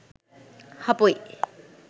හපොයි